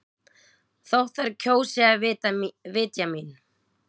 Þótt þær kjósi að vitja mín.